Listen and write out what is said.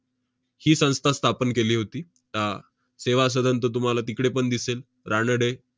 ही संस्था स्थापन केली होती. आह सेवा सदन तर तुम्हाला तिकडे पण दिसेल, रानडे.